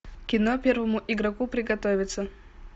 кино первому игроку приготовиться